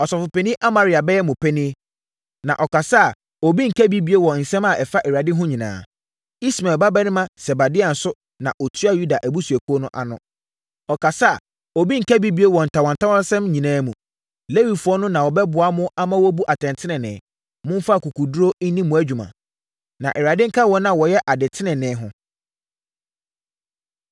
“Ɔsɔfopanin Amaria bɛyɛ mo panin, na ɔkasa a obi nka bi bio wɔ nsɛm a ɛfa Awurade ho nyinaa. Ismael babarima Sebadia nso na ɔtua Yuda abusuakuo ano no. Ɔkasa a, obi nka bi bio wɔ ntawantawasɛm nyinaa mu. Lewifoɔ no na wɔbɛboa mo ama moabu atɛntenenee. Momfa akokoɔduru nni mo dwuma, na Awurade nka wɔn a wɔyɛ ade tenenee ho.”